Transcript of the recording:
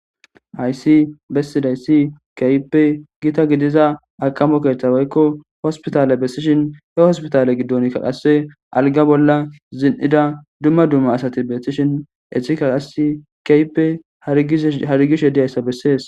Hayissi besidayiss kehippe Gita gidiza akomo keththa woyikko hosipitale gidishinn hee hosipitale giddonikka qase as ligga bolla zin''ida dumma dumma asati betishshin etikka qase kehippe harigishshe dizayissa besses.